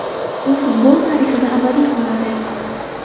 U futbol tarixida abadiy qoladi.